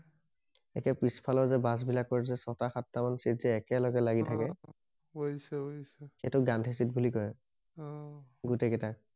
একে পিছফালৰ যে বাছ বিলাকৰ যে ছটা সাত যে চিটযে একেলগে লাগি অ থাকে বুজিছো বুজিছো সেইটোক গান্ধী চিট বুলি কয় অহ গোটেই কেইটাক